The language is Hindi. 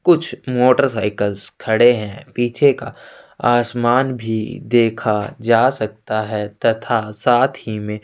कुछ मोटरसाइकल खड़े हैं पीछे का आसमान भी देखा जा सकता हैं तथा साथ ही मे--